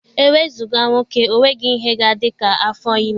E wezụga nwoke, ọ nweghị ihe ga-adị ka afọ ime.